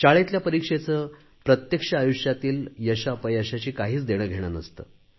शाळेतल्या परीक्षेचे प्रत्यक्ष आयुष्यातील यशअपयशाशी काहीच देणेघेणे नसते